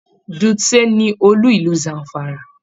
Dutse ní olú ìlú Zamfara.